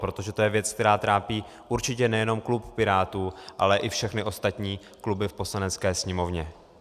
Protože to je věc, která trápí určitě nejenom klub Pirátů, ale i všechny ostatní kluby v Poslanecké sněmovně.